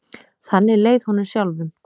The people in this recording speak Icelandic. Þannig leið honum sjálfum.